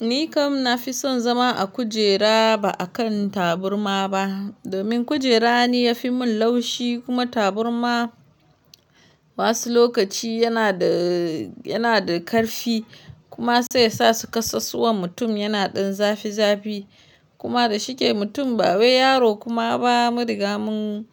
Ni kam na fi son zama a kujera ba a kan taburma ba. Domin kujera ne ya fi mun laushi kuma taburma wasu lokaci yana da, yana da karfi kuma sai yasa su kasasuwan mutum yana ɗan zafi zafi. Kuma da shike mutum ba yaro kuma ba mudugamun